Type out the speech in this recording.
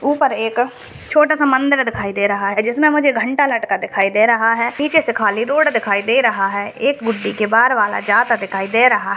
ऊपर एक छोटा सा मंदिर दिखाई दे रहा है जिसमे मुझे घंटा लटका दिखाई दे रहा है। नीचे से खाली रोड दिखाई दे रहा है। एक बुड्डी के बार वाला जाता दिखाई दे रहा है।